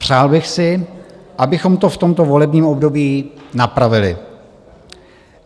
Přál bych si, abychom to v tomto volebním období napravili.